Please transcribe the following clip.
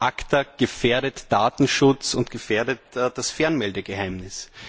ACTA gefährdet Datenschutz und gefährdet das Fernmeldegeheimnis.